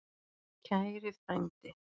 Kæri frændi.